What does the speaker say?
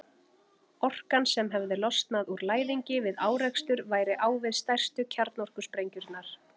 Orkan sem hefði losnað úr læðingi við árekstur væri á við stærstu kjarnorkusprengjurnar.